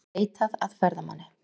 Leitað að ferðamanni